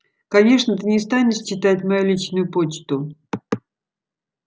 конечно ты не станешь читать мою личную почту